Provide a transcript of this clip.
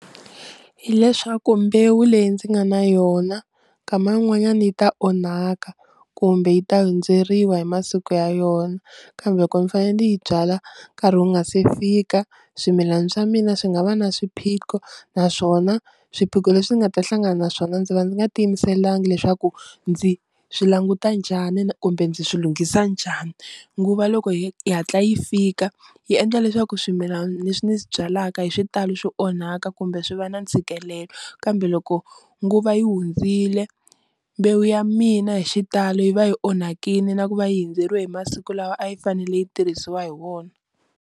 Hi leswaku mbewu leyi ndzi nga na yona nkama un'wanyana yi ta onhaka kumbe yi ta hundzeriwa hi masiku ya yona kambe loko ndzi fanele yi byala nkarhi wu nga se fika, swimilana swa mina swi nga va na swiphiqo naswona swiphiqo leswi ni nga ta hlangana na swona ndzi va ndzi nga tiyimiselanga leswaku ndzi swi languta njhani kumbe ndzi swilunghisa njhani, nguva loko yi hatla yi fika yi endla leswaku swimilana leswi ni swi byalaka hi xitalo swi onhaka kumbe swi va na ntshikelelo kambe loko nguva yi hundzile mbewu ya mina hi xitalo yi va yi onhakile na ku va yi hundzeriwe hi masiku lawa a yi fanele yi tirhisiwa hi wona.